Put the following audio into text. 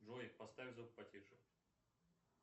джой поставь звук потише